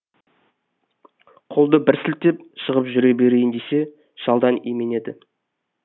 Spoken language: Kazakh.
қолды бір сілтеп шығып жүре берейін десе шалдан именеді